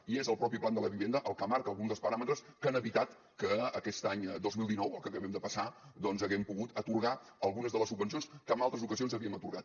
i és el mateix plan de la vivienda el que marca alguns dels paràmetres que han evitat que aquest any dos mil dinou el que acabem de passar doncs haguem pogut atorgar algunes de les subvencions que en altres ocasions havíem atorgat